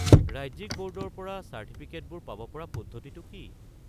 ৰাজ্যিক বৰ্ডৰ পৰা চাৰ্টিফিকেটবোৰ পাব পৰা পদ্ধতিটো কি?